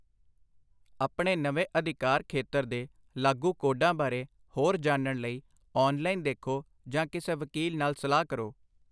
ਆਪਣੇ ਨਵੇਂ ਅਧਿਕਾਰ ਖੇਤਰ ਦੇ ਲਾਗੂ ਕੋਡਾਂ ਬਾਰੇ ਹੋਰ ਜਾਣਨ ਲਈ ਔਨਲਾਈਨ ਦੇਖੋ ਜਾਂ ਕਿਸੇ ਵਕੀਲ ਨਾਲ ਸਲਾਹ ਕਰੋ।